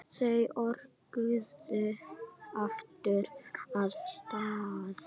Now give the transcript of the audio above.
Þau örkuðu aftur af stað.